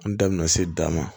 An da bɛna se d'a ma